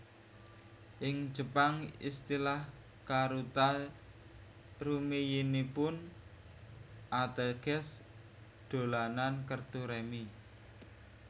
Ing Jepang istilah karuta rumiyinipun ateges dolanan kertu rèmi